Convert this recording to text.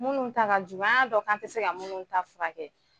Minnu ta ka jugu , an y'a dɔn k'an tɛ se ka minnu ta furakɛ.